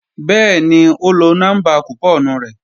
Bẹ́ẹ̀ni ó lọ nọ́mbà kùpọ́ọ̀nù rẹ̀